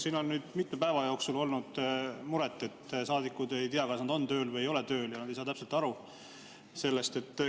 Siin on mitmel päeval olnud mure, et saadikud ei tea, kas nad on tööl või ei ole tööl, nad ei saa täpselt aru sellest.